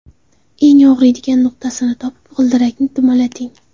Eng og‘riydigan nuqtasini topib g‘ildirakni dumalating.